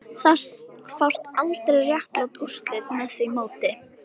Það fást aldrei réttlát úrslit með því móti